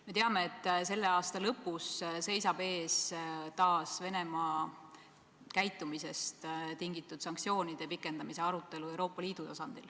Me teame, et selle aasta lõpus seisab Euroopa Liidu tasandil taas ees Venemaa käitumisest tingitud sanktsioonide pikendamise arutelu.